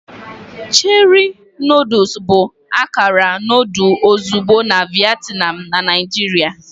Cherie noodles bụ akara noodle ozugbo na Vietnam na Naijiria.